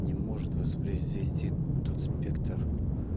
не может воспроизвести тот спектр